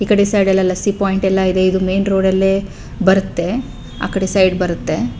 ಈಕಡೆ ಸೈಡ್ ಲೆಲ್ಲ C point ಎಲ್ಲ ಇದೆ ಇದು ಮೇನ್ ರೋಡ್ ಅಲ್ಲೇ ಬರುತ್ತೆ ಆಕಡೆ ಸೈಡ್ ಬರುತ್ತೆ.